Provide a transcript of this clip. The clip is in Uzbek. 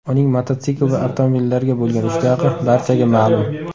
Uning mototsikl va avtomobillarga bo‘lgan ishtiyoqi barchaga ma’lum.